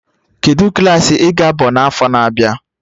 Kedụ Klassị I ga-aba n'afọ na-abịa?